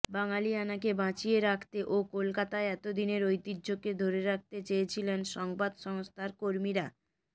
বাঙালিয়ানাকে বাঁচিয়ে রাখতে ও কলকাতায় এতদিনের ঐতিহ্যকে ধরে রাখতে চেয়েছিলেন সংবাদসংস্থার কর্মীরা